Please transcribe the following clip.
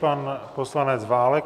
Pan poslanec Válek.